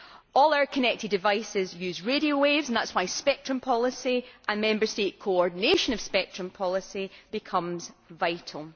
All our connector devices use radio waves, and that is why spectrum policy and Member State coordination of spectrum policy becomes vital.